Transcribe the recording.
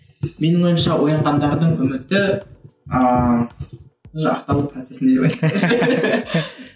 менің ойымша оянғандардың үміті ыыы